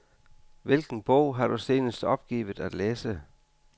Hvilken bog har du senest opgivet at læse?